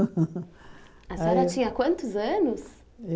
Aí A senhora tinha quantos anos?